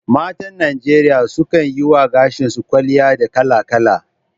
Matan Najeriya sukan yi wa gashi su kwalliya da kala-kala